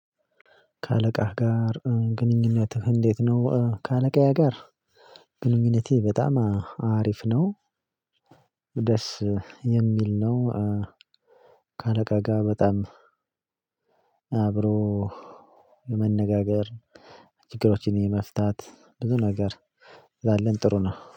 ከአለቃህ ጋር ግንኙነትህ እንዴት ነው? ከአለቃዬ ጋር ግንኙነቴ በጣም አሪፍ ነው። ደስ የሚል ነው። ከአለቃ ጋር በጣም አብሮ ለመነጋገር ችግሮችን የመፍታት ብዙ ነገር ስላለን ጥሩ ነው።